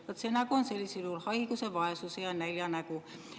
Vaat, see nägu on sellisel juhul haiguse, vaesuse ja nälja nägu.